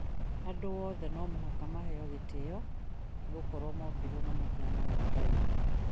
Andũ oothe no mũhaka maheo gĩtĩo nĩgũkorwo mombirwo na mũhiano wa Ngai